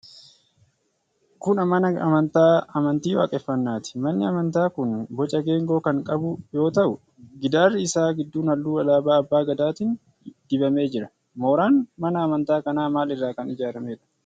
Kun mana amantaa amantii Waaqeffannaati. Manni amantaa kun boca geengoo kan qagu yoo ta'u, gidaarri isaa gidduun halluu alaabaa Abbaa Gadaatiin dibamee jira. Mooraan mana amantaa kana maal irraa kan ijaaramedha?